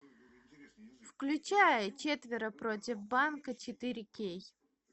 включай четверо против банка четыре кей